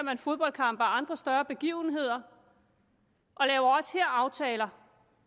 fodboldkampe og andre større begivenheder og aftaler